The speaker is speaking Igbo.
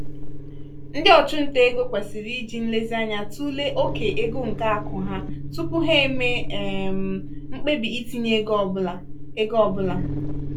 ndị ọchụnta ego kwesịrị iji nlezianya tụlee oke ego nke akụ ha tupu ha eme um mkpebi itinye ego ọ bụla. ego ọ bụla.